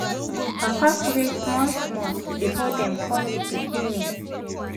papa pray small small before dem call d pikin name